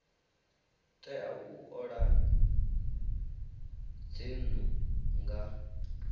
tea u ola dzinnu nga